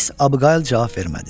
Miss Abgail cavab vermədi.